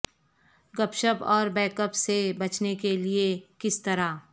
گپ شپ اور بیک اپ سے بچنے کے لئے کس طرح